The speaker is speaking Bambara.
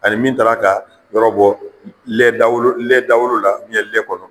Ani min taar'a ka yɔrɔ bɔ lɛ dawolo lɛ dawolo la, lɛ kɔnɔ